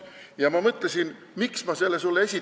Ja miks ma selle sulle esitan?